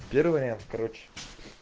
первая короче